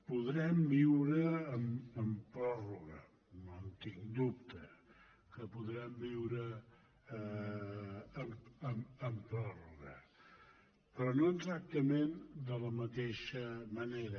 podrem viure amb pròrroga no en tinc cap dubte que podrem viure amb pròrroga però no exactament de la mateixa manera